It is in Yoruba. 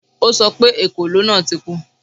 O sọ pé ekòló náà ti kú